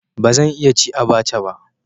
Ba zan iya ci abacha ba.